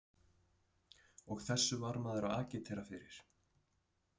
Og þessu var maður að agitera fyrir!